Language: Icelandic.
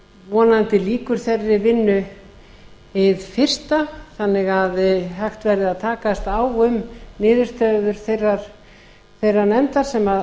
vonandi lýkur þeirri vinnu hið fyrsta þannig að hægt verði að takast á um niðurstöður þeirrar nefndar sem